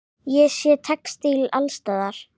Ég sé textíl alls staðar.